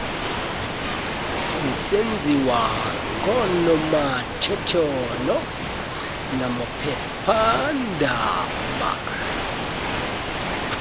sisenziwa ngoonomathotholo namaphephaandaba